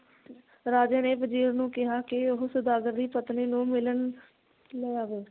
ਰਾਜੇ ਨੇ ਵਜ਼ੀਰ ਨੂੰ ਕਿਹਾ ਕਿ ਉਹ ਸੌਦਾਗਰ ਦੀ ਪਤਨੀ ਨੂੰ ਮਿਲਣ ਲੈ ਆਵੇ।